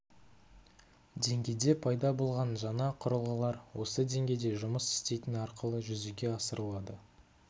деңгейде пайда болған жаңа құрылғылар осы деңгейде жұмыс істейтін арқылы жүзеге асырылады